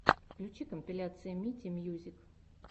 включи компиляция мити мьюзик